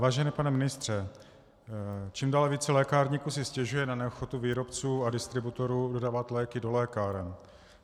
Vážený pane ministře, čím dál více lékárníků si stěžuje na neochotu výrobců a distributorů dodávat léky do lékáren.